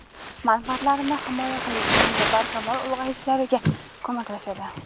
manfaatlarini himoya qilish hamda barkamol ulg‘ayishlariga koʼmaklashadi.